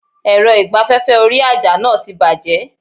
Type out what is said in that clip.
Èrọ ìgbaféfé orí àjà náà ti bàjé